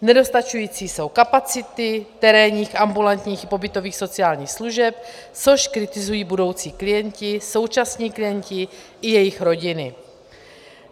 Nedostačující jsou kapacity terénních, ambulantních a pobytových sociálních služeb, což kritizují budoucí klienti, současní klienti i jejich rodiny.